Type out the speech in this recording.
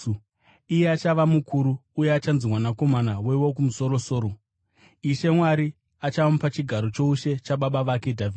Achava mukuru uye achanzi Mwanakomana weWokumusoro-soro. Ishe Mwari achamupa chigaro choushe chababa vake Dhavhidhi,